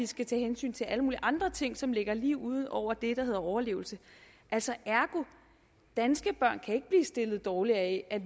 skal tage hensyn til alle mulige andre ting som ligger lige ud over det der hedder overlevelse danske børn kan stillet dårligere af at